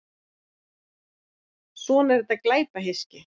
Svona er þetta glæpahyski.